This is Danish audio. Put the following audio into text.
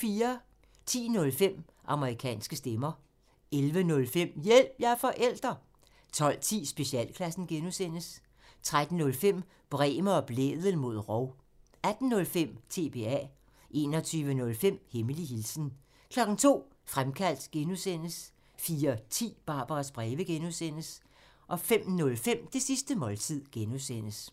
10:05: Amerikanske stemmer 11:05: Hjælp – jeg er forælder! 12:10: Specialklassen (G) 13:05: Bremer og Blædel mod rov 18:05: TBA 21:05: Hemmelig hilsen 02:00: Fremkaldt (G) 04:10: Barbaras breve (G) 05:05: Det sidste måltid (G)